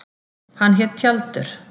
Hann hét Tjaldur.